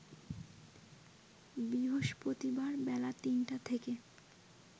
বৃহস্পতিবার বেলা ৩টা থেকে